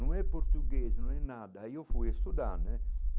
Não é português, não é nada, aí eu fui estudar, né?